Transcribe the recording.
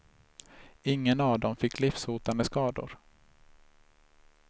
Ingen av dem fick livshotande skador.